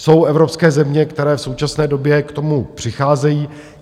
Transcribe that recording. Jsou evropské země, které v současné době k tomu přicházejí.